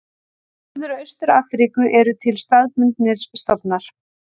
Í Norður og Austur-Afríku eru til staðbundnir stofnar.